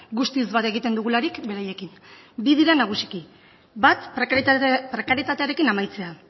guztiz bat egiten dugularik beraiekin bi dira nagusiki bat prekarietatearekin amaitzea